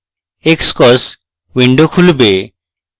xcos window খুলবে